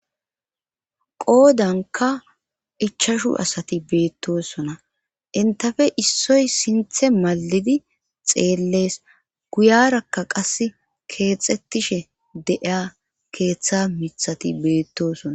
qoodanka ichashu asati beettosona intafe issoy sinthe malidi xeellees guyarakka qas keexxettishe deiya keeththa mithati beettosona